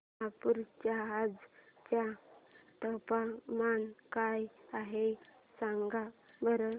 नागपूर चे आज चे तापमान काय आहे सांगा बरं